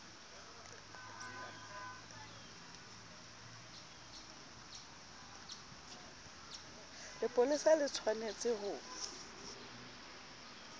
lepolesa le tsh wanetse ho